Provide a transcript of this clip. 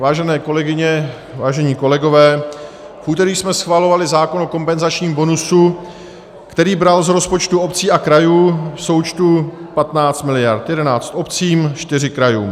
Vážené kolegyně, vážení kolegové, v úterý jsme schvalovali zákon o kompenzačním bonusu, který bral z rozpočtu obcí a krajů v součtu 15 miliard - 11 obcím, 4 krajům.